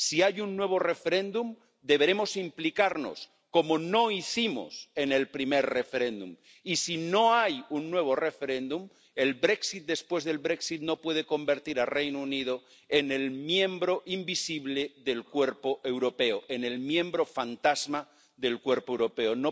Si hay un nuevo referéndum, deberemos implicarnos —cosa que no hicimos en el primer referéndum—, y si no hay un nuevo referéndum, el Brexit después del Brexit no puede convertir al Reino Unido en el miembro invisible del cuerpo europeo, en el miembro fantasma del cuerpo europeo.